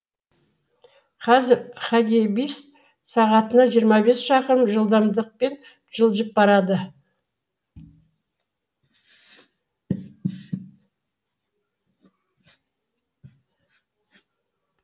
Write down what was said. қазір хагибис сағатына жиырма бес шақырым жылдамдықпен жылжып барады